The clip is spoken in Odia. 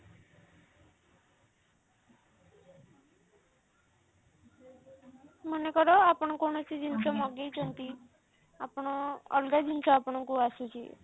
ମନେକର ଆପଣ କୌଣସି ଜିନିଷ ମଗେଇଛନ୍ତି ଆପଣ ଅଲଗା ଜିନିଷ ଆପଣଙ୍କୁ ଆସୁଛି